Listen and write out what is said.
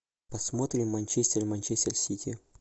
посмотрим манчестер и манчестер сити